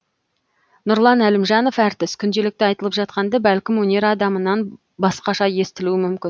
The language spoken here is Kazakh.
нұрлан әлімжанов әртіс күнделікті айтылып жатқанды бәлкім өнер адамынан басқаша естілуі мүмкін